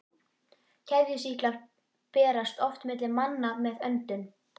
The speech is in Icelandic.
Keðjusýklar berast oft milli manna með öndun.